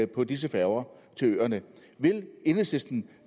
på disse færger til øerne vil enhedslisten